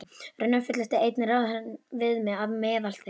Raunar fullyrti einn ráðherrann við mig, að meðal þeirra